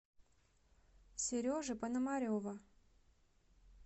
сережи пономарева